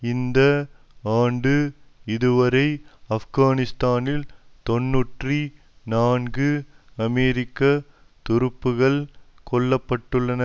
இந்த ஆண்டு இதுவரை ஆப்கானிஸ்தானில் தொன்னூற்றி நான்கு அமெரிக்க துருப்புகள் கொல்ல பட்டுள்ளனர்